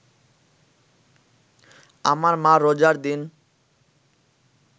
আমার মা রোজার দিন